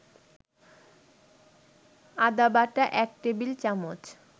আদাবাটা ১ table চামচ